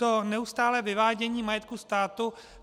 To neustálé vyvádění majetku státu.